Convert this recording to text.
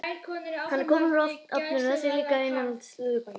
Hann er kominn úr ofninum, þessi líka ilmandi slúðurpakki.